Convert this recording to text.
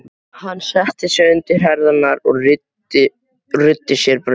Hann setti undir sig herðarnar og ruddi sér braut.